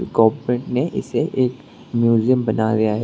Corporate ने इसे एक म्यूजियम बना गया है।